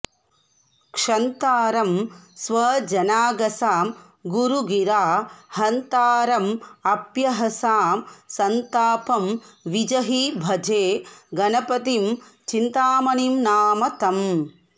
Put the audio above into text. क्षन्तारं स्वजनागसां गुरुगिरा हन्तारमप्यहसां सन्तापं विजही भजे गणपतिं चिन्तामणिं नाम तम्